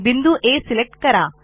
बिंदू आ सिलेक्ट करा